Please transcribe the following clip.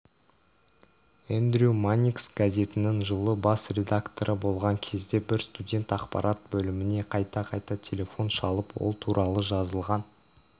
эндрью манникс газетінің жылы бас редакторы болған кезде бір студент ақпарат бөліміне қайта-қайта телефон шалып ол туралы жазылған